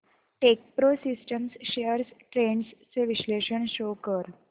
Techpro systems shares trends चे विश्लेषण show कर